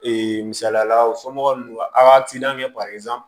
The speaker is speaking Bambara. Ee misaliyala u somɔgɔw a kɛ